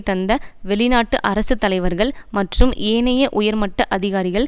தந்த வெளிநாட்டு அரசு தலைவர்கள் மற்றும் ஏனைய உயர் மட்ட அதிகாரிகள்